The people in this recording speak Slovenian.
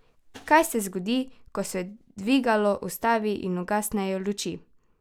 Kaj se zgodi, ko se dvigalo ustavi in ugasnejo luči?